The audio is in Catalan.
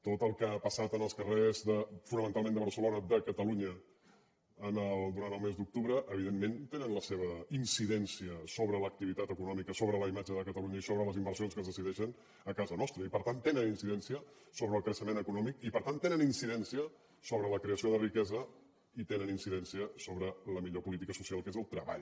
tot el que ha passat en els carrers fonamentalment de barcelona de catalunya durant el mes d’octubre evidentment té la seva incidència sobre l’activitat econòmica sobre la imatge de catalunya i sobre les inversions que es decideixen a casa nostra i per tant tenen incidència sobre el creixement econòmic i per tant tenen incidència sobre la creació de riquesa i tenen incidència sobre la millor política social que és el treball